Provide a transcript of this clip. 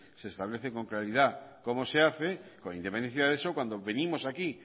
se establece con claridad cómo se hace con independencia de eso cuando venimos aquí